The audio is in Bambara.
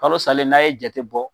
Kalo salen n'a ye jate bɔ.